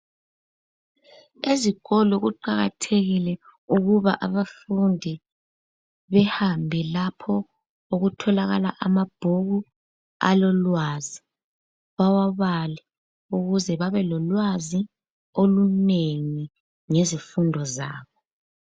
Ezikolo kuqakathekile ukuba abafundi behambe lapho okutholakala amabhuku alolwazi bewabale ukuze babe lolwazi olunengi ngezifundo zabo.